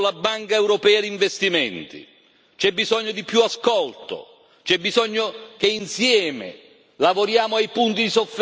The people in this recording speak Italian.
C'è bisogno che insieme lavoriamo ai punti di sofferenza, ai punti di maggiore necessità di cambiamento.